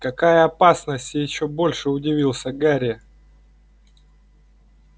какая опасность ещё больше удивился гарри